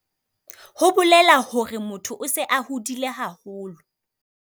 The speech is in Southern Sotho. Ho bolela hore motho o se a hodile haholo.